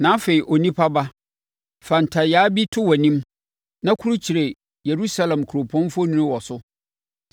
“Na afei, onipa ba, fa ntayaa bi to wʼanim na kurukyire Yerusalem kuropɔn mfoni wɔ so.